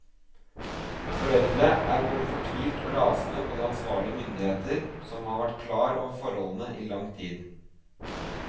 Foreldre er både fortvilt og rasende på de ansvarlige myndigheter, som har vært klar over forholdene i lang tid.